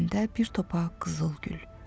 Əllərində bir topa qızıl gül.